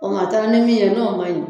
O tuma a taara ni min ye n'o ma ɲi